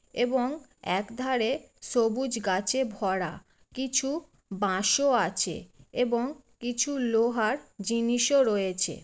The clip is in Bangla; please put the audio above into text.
এবং একধারে সবুজ গাছে ভরা। কিছু বাঁশও আছে এবং কিছু লোহার জিনিসও রয়েছে।